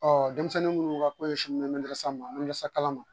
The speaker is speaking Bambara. Ɔ denmisɛnnin munnu ka ko ye sin mɛn san ma nun san kalan ma